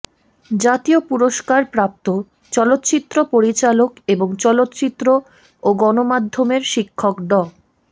জাতীয় পুরস্কার প্রাপ্ত চলচ্চিত্র পরিচালক এবং চলচ্চিত্র ও গণমাধ্যমের শিক্ষক ড